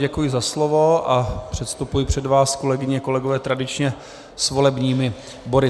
Děkuji za slovo a předstupuji před vás, kolegyně, kolegové, tradičně s volebními body.